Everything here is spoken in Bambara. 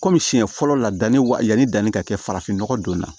Kɔmi siɲɛ fɔlɔ la danni wa yanni danni ka kɛ farafin nɔgɔ don na